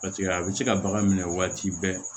Paseke a bɛ se ka bagan minɛ waati bɛɛ